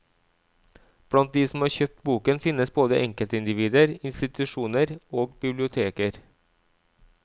Blant de som har kjøpt boken finnes både enkeltindivider, institusjoner og biblioteker.